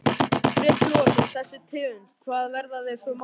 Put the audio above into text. Breki Logason: Þessi tegund, hvað, verða þeir svona gamlir?